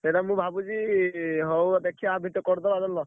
ସେଇଟା ମୁଁ ଭାବୁଚି ହଉ ଦେଖିଆ ଆ ଭିତରେ କରିଦବା ଜାଣିଲ।